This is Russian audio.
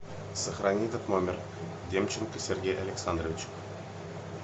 сохрани этот номер демченко сергей александрович